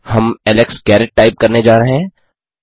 हम Alex Garrett type करने जा रहे हैं